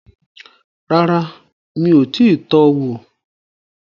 Rárá, mi ò tíì tọ wò